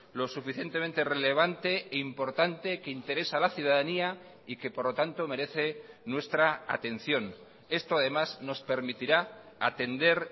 lo suficientemente relevante e importante que interesa a la ciudadanía y que por lo tanto merece nuestra atención esto además nos permitirá atender